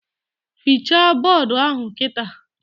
Fichaa bọdụ ahụ kịta!